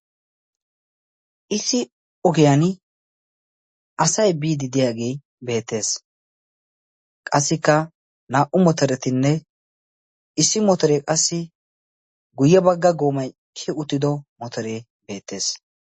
Issi ogiyaan asay biiddi diyaagee beettees. qassikka naa"u moterettinne issi motoree qassi guye bagga goomay kiyi uttido motoree beettees.